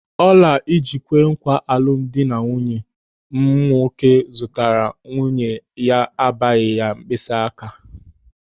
Ọla ịji kwee nkwà alụmdi nwanne m nwoke zụtara nwunye ya abaghị mkpịsị áká ya.